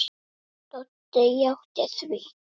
Doddi játti því.